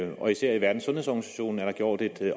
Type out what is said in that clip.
og især i verdenssundhedsorganisationen er der gjort et